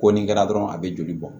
Ko nin kɛra dɔrɔn a bɛ joli bɔ